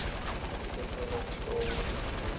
asiletsela titoko edvutane